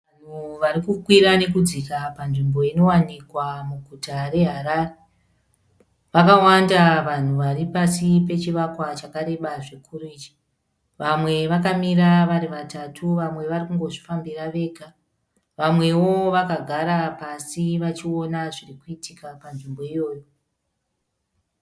Vanhu varikukwira nekudzika panzvimbo inowanikwa muguta reHarare. Vakawanda vanhu varipasi pachivakwa chakareba zvikuru icho. Vamwe vakamira vari vatatu vamwe varikungozvifambira vega. Vamwewo vakagara pasi vachiona zvirikuituka panzvimbo iyoyo.